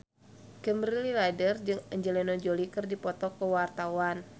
Kimberly Ryder jeung Angelina Jolie keur dipoto ku wartawan